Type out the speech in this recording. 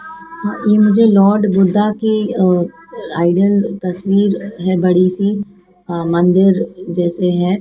ई मुझे लॉर्ड बुद्धा की a idol तस्वीर है बड़ी सी अ मंदिर जैसे है।